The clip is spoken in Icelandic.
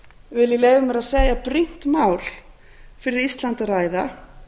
vil ég leyfa mér að segja brýnt mál fyrir ísland að ræða